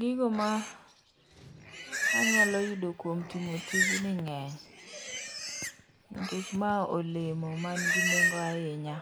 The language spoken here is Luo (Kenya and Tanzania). Gigo manyalo yudo kuom timo tijni nge'ny nikech ma olemo ma nigi nengo ahinya